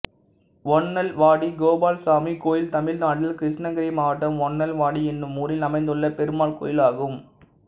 ஒன்னல் வாடி கோபால்சாமி கோயில் தமிழ்நாட்டில் கிருஷ்ணகிரி மாவட்டம் ஒன்னல் வாடி என்னும் ஊரில் அமைந்துள்ள பெருமாள் கோயிலாகும்